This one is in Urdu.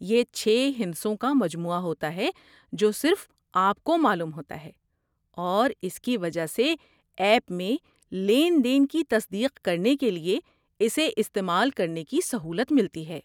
یہ چھے ہندسوں کا مجموعہ ہوتا ہے جو صرف آپ کو معلوم ہوتا ہے اور اس کی وجہ سے ایپ میں لین دین کی تصدیق کرنے کے لیے اسے استعمال کرنے کی سہولت ملتی ہے